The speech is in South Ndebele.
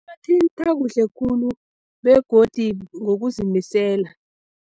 Iwathintha kuhle khulu begodi ngokuzimisela.